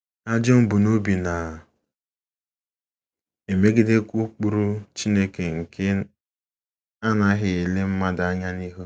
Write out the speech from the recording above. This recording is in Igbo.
Ajọ mbunobi na - emegidekwa ụkpụrụ Chineke nke anaghị ele mmadụ anya n’ihu.